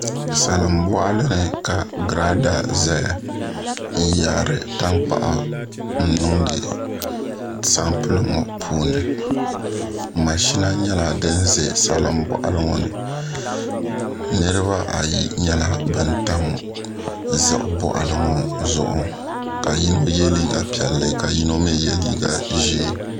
Salin boɣali ni ka girada ʒɛya n yaari tankpaɣu n niŋdi sampuli ŋo puuni mashina nyɛla din ʒɛ salin boɣali ŋo ni niraba ayi nyɛla bin tam ziɣi boɣali ŋo zuɣu ka yino yɛ liiga piɛlli ka yino mii yɛ liiga ʒiɛ